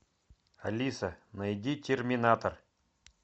алиса найди терминатор